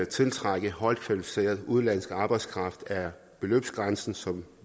tiltrække højt kvalificeret udenlandsk arbejdskraft er beløbsgrænsen som